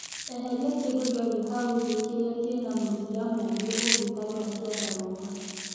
Eheria kĩndũ gĩothe hau thĩ kĩrĩa kĩna mũthia mũgĩ ũngĩtarũra kĩandarũa.